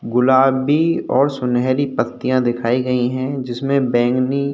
गुलाबी और सुनहरी पत्तियां दिखाई गई है जिसमे बैगनी --